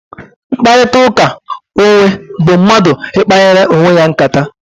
Mkparịta ụka onwe bụ mmadụ ikpanyere onwe ya nkata